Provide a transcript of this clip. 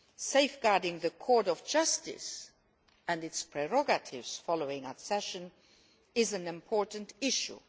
safeguarding the Court of Justice and its prerogatives following accession is an important issue.